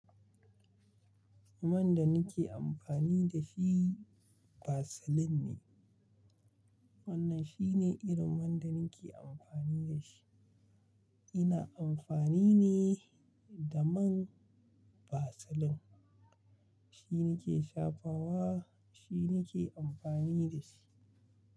Man da nake amfani da shi Vaseline ne. Wannan shine irin man da nake amfani da shi. Ina amfani ne da man Vaseline. Shi nake shafawa, shi nake amfani da shi.